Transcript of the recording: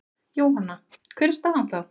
Jóhanna: Hver er staðan þá?